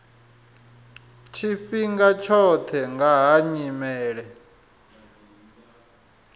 tshifhinga tshoṱhe nga ha nyimele